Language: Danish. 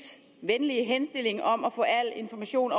venlige henstilling om at få al information